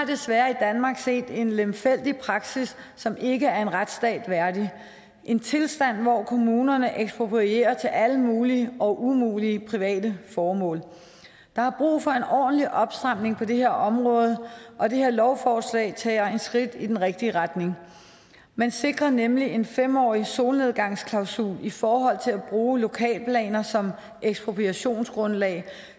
desværre set en lemfældig praksis som ikke er en retsstat værdig en tilstand hvor kommunerne eksproprierer til alle mulige og umulige private formål der er brug for en ordentlig opstramning på det her område og det her lovforslag tager et skridt i den rigtige retning man sikrer nemlig en fem årig solnedgangsklausul i forhold til at bruge lokalplaner som ekspropriationsgrundlag